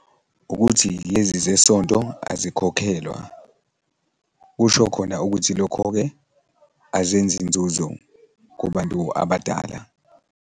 Ukuthi lezi zesonto azikhokhelwa, kusho khona ukuthi lokho-ke azenzi inzuzo kubantu abadala.